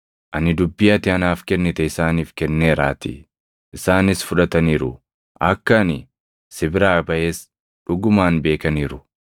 Ani dubbii ati anaaf kennite isaaniif kenneeraatii; isaanis fudhataniiru. Akka ani si biraa baʼes dhugumaan beekaniiru; akka ati na ergites amananiiru.